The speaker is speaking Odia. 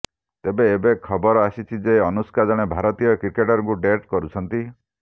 ତେବେ ଏବେ ଖବର ଆସିଛି ଯେ ଅନୁଷ୍କା ଜଣେ ଭାରତୀୟ କ୍ରିକେଟରଙ୍କୁ ଡେଟ୍ କରୁଛନ୍ତି